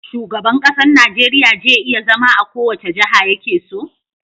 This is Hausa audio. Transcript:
Shugaban ƙasar Nigeria je iya zama a kowace jaha yakeso?